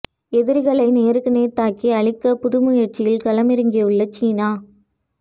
எதிரிகளை நேருக்கு நேர் தாக்கி அழிக்க புது முயற்சியில் களமிறங்கியுள்ள சீனா